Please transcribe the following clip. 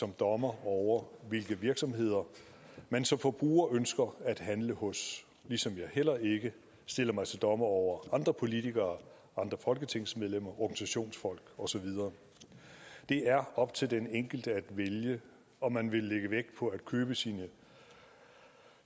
dommer over hvilke virksomheder man som forbruger ønsker at handle hos ligesom jeg heller ikke stiller mig til dommer over andre politikere andre folketingsmedlemmer organisationsfolk og så videre det er op til den enkelte at vælge om man vil lægge vægt på at købe sine